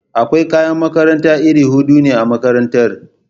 Akwai kayan makaranta iri hudu ne a makarantara.